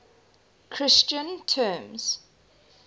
christian terms